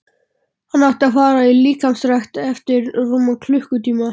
Hann átti að fara í líkamsrækt eftir rúman klukkutíma.